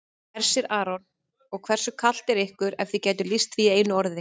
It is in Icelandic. Hersir Aron: Og hversu kalt er ykkur ef þið gætuð lýst því í einu orði?